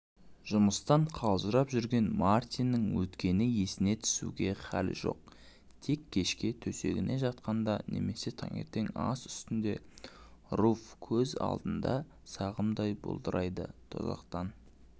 жұмыстан қалжырап жүрген мартиннің өткенді есіне түсіруге халі жоқ тек кешке төсегіне жатқанда немесе таңертең ас үстінде руфь көз алдында сағымдай бұлдырайдытозақтан